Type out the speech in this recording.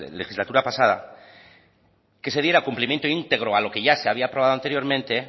legislatura pasada que se diera cumplimiento íntegro a lo que ya se había aprobado anteriormente